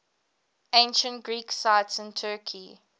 ancient greek sites in turkey